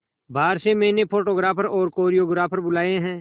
बाहर से मैंने फोटोग्राफर और कोरियोग्राफर बुलाये है